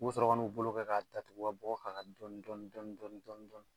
U bi sɔrɔ ka n'u bolo kɛ k'a tatugu ka bɔgɔ k'a kan dɔɔnin dɔɔnin dɔɔnin dɔɔnin dɔɔnin.